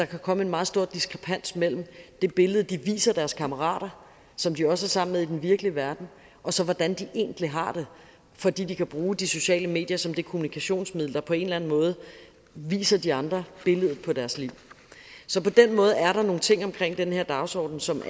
kan komme en meget stor diskrepans mellem det billede de viser deres kammerater som de også er sammen med i den virkelige verden og så hvordan de egentlig har det fordi de kan bruge de sociale medier som det kommunikationsmiddel der på en eller anden måde viser de andre billedet på deres liv så på den måde er der nogle ting omkring den her dagsorden som